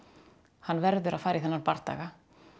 hann verður að fara í þennan bardaga